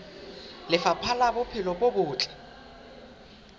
lefapha la bophelo bo botle